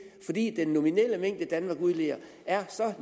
fordi den nominelle mængde danmark udleder er så